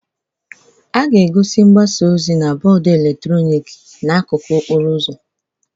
A ga-egosi mgbasa ozi na bọọdụ eletrọnịkị n'akụkụ okporo ụzọ